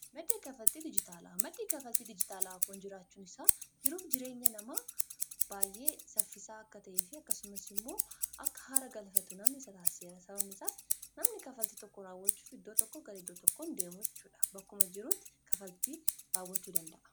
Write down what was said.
madda kanfalti dijitaala maddii kafalti dijitaalaa kuun jiraachuun isaa jiruuf jireenya nama baay'ee saffisaa akka ta'e fi akkasumas immoo akka haara galfatuf namni isa taaseera sababni isaas namni kafalti tokko raawwachuuf iddoo tokko gara iddoo tokko hin deemu jechudha bakkuma jirutti kafaltii raawwachuu danda'a